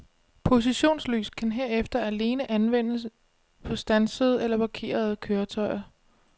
Positionslys kan herefter alene anvendes på standsede eller parkerede køretøjer.